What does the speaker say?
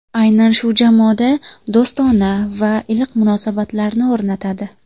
Aynan shu jamoada do‘stona va iliq munosabatlarni o‘rnatadi”.